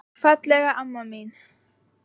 Fallega amma mín.